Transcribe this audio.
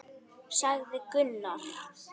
sagði Gunnar.